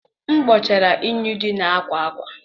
M kpochara unyi dị na akwa akwa.